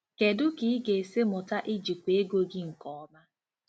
Kedu ka ị ga-esi mụta ijikwa ego gị nke ọma?